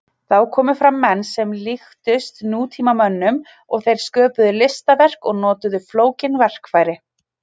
Þá komu fram menn sem líktust nútímamönnum og þeir sköpuðu listaverk og notuðu flókin verkfæri.